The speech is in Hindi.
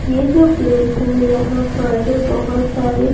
ये जो प्लेस है यहां पर बहुत सारे --